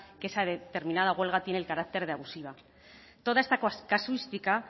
que esa determinada huelga tiene el carácter de abusiva toda esta casuística